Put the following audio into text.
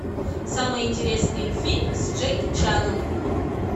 самый интересный фильм с джеки чаном